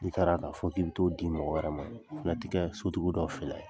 N'i taara ka fɔ k'i bɛ taa'o di mɔgɔ wɛrɛ ma, la ki' a sotigiw dɔw filɛ.